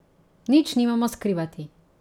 Nič nimamo skrivati.